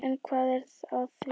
En hvað er að því?